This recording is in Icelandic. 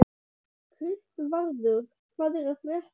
Kristvarður, hvað er að frétta?